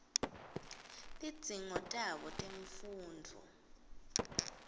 tidzingo tabo temfundvo